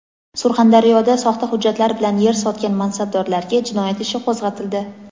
Surxondaryoda soxta hujjatlar bilan yer "sotgan" mansabdorlarga jinoyat ishi qo‘zg‘atildi.